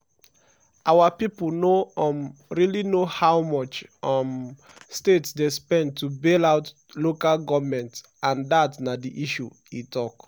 "our pipo no um really know how much um states dey spend to bail out local goments and dat na di issue" e tok.